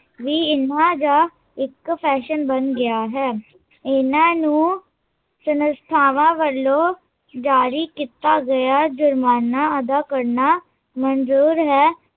ਵੀ ਈਹਾ ਜਿਹਾ ਇੱਕ ਫੈਸ਼ਨ ਬਣ ਗਿਆ ਹੈ ਇਹਨਾਂ ਨੂੰ, ਸੰਨਸਥਾਵਾਂ ਵੱਲੋਂ ਜਾਰੀ ਕੀਤਾ ਗਿਆ ਜੁਰਮਾਨਾ ਅਦਾ ਮਨਜ਼ੂਰ ਹੈ